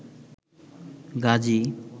Gazi